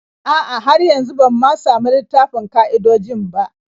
A'a, har yanzu ban ma samu littafin ƙa'idojin ba.